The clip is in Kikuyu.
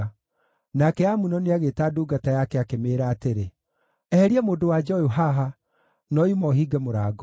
Nake Amunoni agĩĩta ndungata yake, akĩmĩĩra atĩrĩ, “Eheria mũndũ-wa-nja ũyũ haha, na oima ũhinge mũrango.”